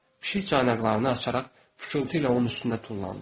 Pişik caynaqlarını açaraq fışqıltı ilə onun üstünə tullandı.